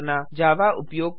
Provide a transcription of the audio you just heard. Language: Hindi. जावा उपयोग के लाभ